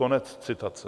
- Konec citace.